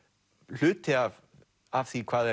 hluti af af því hvað